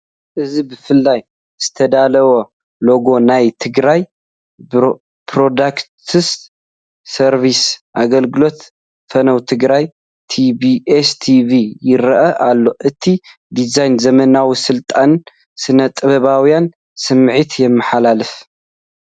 እዚ ብፍሉይ ዝተዳለወ ሎጎ ናይ ትግራይ ብሮድካስት ሰርቪስ... ኣገልግሎት ፈነወ ትግራይ (TBS TV) ይረአ ኣሎ። እቲ ዲዛይን ዘመናዊ፡ ስሉጥን ስነ-ጥበባዊን ስምዒት የመሓላልፍ።